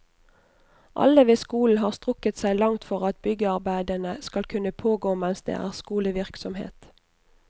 Alle ved skolen har strukket seg langt for at byggearbeidene skal kunne pågå mens det er skolevirksomhet.